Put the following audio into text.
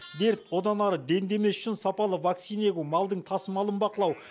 дерт одан ары дендемес үшін сапалы вакцина егу малдың тасымалын бақылау